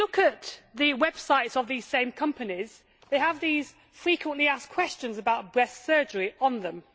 If you look at the websites of these same companies, they have these frequently asked questions about breast surgery on them.